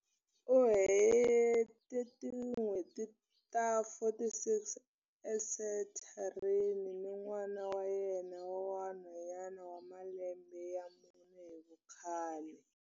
U hete tin'hweti ta 46 esenthareni ni n'wana wa yena wa nhwanyana wa malembe ya mune hi vukhale.